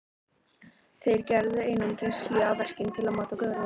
Þeir gerðu einungis hlé á verkinu til að máta gröfina.